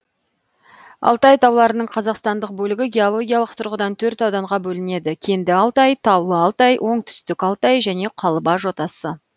алтай тауларының қазақстандық бөлігі геологиялық тұрғыдан төрт ауданға бөлінеді кенді алтай таулы алтай оңтүстік алтай және қалба жотасы